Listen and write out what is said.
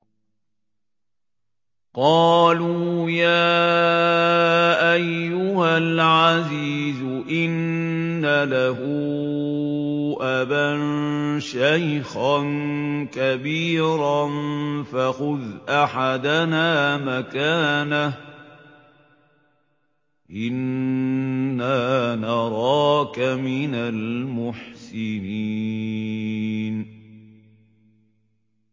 قَالُوا يَا أَيُّهَا الْعَزِيزُ إِنَّ لَهُ أَبًا شَيْخًا كَبِيرًا فَخُذْ أَحَدَنَا مَكَانَهُ ۖ إِنَّا نَرَاكَ مِنَ الْمُحْسِنِينَ